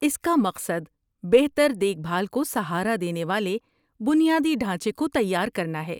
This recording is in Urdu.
اس کا مقصد بہتر دیکھ بھال کو سہارا دینے والے بنیادی ڈھانچے کو تیار کرنا ہے۔